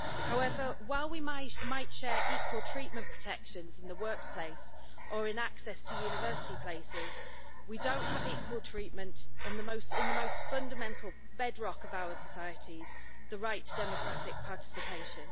However, while we might share equal treatment protection in the workplace and in access to university places, we do not have equal treatment in that most fundamental bedrock of our societies the right to democratic participation.